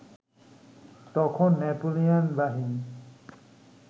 তখন নেপোলিয়ন বাহিনী